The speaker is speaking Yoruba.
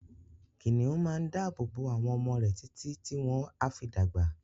kìnìún máa n dábò bo àwọn ọmọ rè títi tí wọ́n á fi dàgbà.